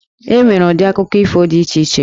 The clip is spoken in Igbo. E nwere ụdị akụkọ ifo dị iche iche.